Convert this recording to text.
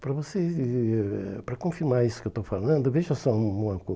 Para você eh para confirmar isso que eu estou falando, veja só uma